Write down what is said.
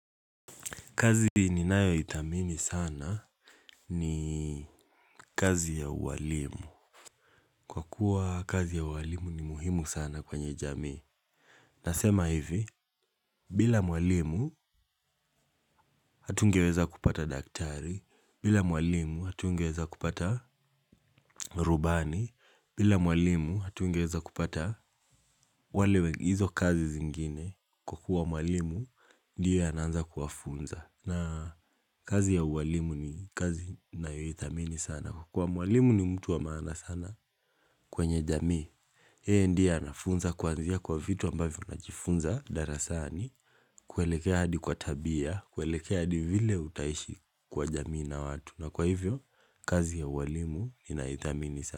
Kazi ninayo ithamini sana ni kazi ya uwalimu. Kwa kuwa kazi ya uwalimu ni muhimu sana kwenye jamii. Nasema hivi, bila mwalimu hatungeweza kupata daktari, bila mwalimu hatungeweza kupata rubani, bila mwalimu hatungeweza kupata wale wengine, hizo kazi zingine. Kwa kuwa mwalimu, ndiye anaanza kuwafunza. Na kazi ya uwalimu ni kazi ninayo ithamini sana, kukuwa mwalimu ni mtu wa maana sana kwenye jamii. Yeye ndiye anafunza kuanzia kwa vitu ambavyo najifunza darasani. Kuelekea hadi kwa tabia, kuelekea hadi vile utaishi kwa jamii na watu. Na kwa hivyo, kazi ya uwalimu inaithamini sana.